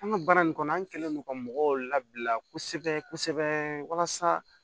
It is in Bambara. An ka baara in kɔnɔ an kɛlen don ka mɔgɔw labila kosɛbɛ kosɛbɛ walasa